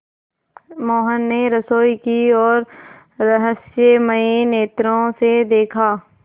मोहन ने रसोई की ओर रहस्यमय नेत्रों से देखा